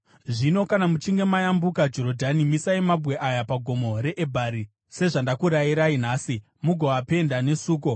Zvino kana muchinge mayambuka Jorodhani, misai mabwe aya paGomo reEbhari, sezvandakurayirai nhasi, mugoapenda nesuko.